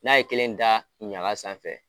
N'a ye kelen da ɲaga sanfɛ.